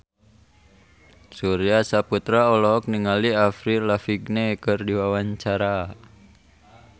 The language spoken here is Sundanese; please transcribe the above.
Surya Saputra olohok ningali Avril Lavigne keur diwawancara